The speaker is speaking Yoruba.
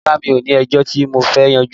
Rárá mi ò ní ẹjọ́ tí mo fẹ́ yanjú